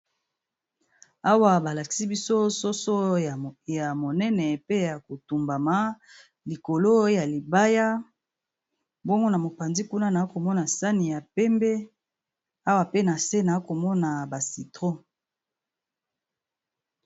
Awa ba lakisi biso soso ya monene pe ya ko tumbama likolo ya libaya, bongo na mopanzi kuna na komona sani ya pembe awa pe na se na komona ba citron.